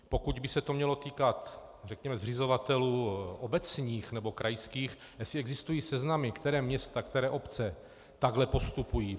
Pokud by se to mělo týkat, řekněme, zřizovatelů obecních nebo krajských, asi existují seznamy, která města, které obce takhle postupují.